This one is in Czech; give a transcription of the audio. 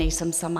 Nejsem sama.